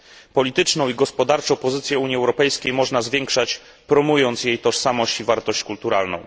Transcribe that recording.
Polityczną i gospodarczą pozycję Unii Europejskiej można zwiększać, promując jej tożsamość i wartość kulturalną.